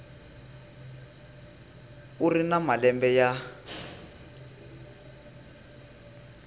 u ri na malembe ya